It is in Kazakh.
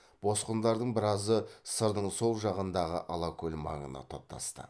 босқындардың біразы сырдың сол жағындағы алакөл маңына топтасты